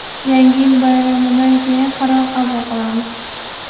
Yangi yil bayramidan keyin qaror qabul qilamiz”.